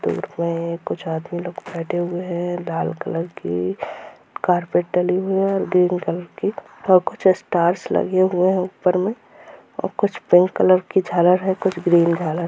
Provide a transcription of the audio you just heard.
इसमें कुछ आदमी लोग बैठे हुए है लाल कलर की कार्पेट डली हुई है और ग्रीन कलर की और कुछ स्टार्स लगे हुए हैं ऊपर में और कुछ पिंक कलर की झालर है कुछ ग्रीन कलर ---